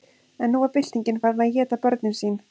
en nú var byltingin farin að éta börnin sín